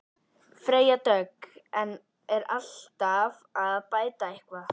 Freyja Dögg: En er alltaf hægt að bæta eitthvað?